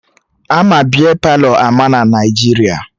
Ama Bia Palọ ama na Naijiria